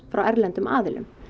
frá erlendum aðilum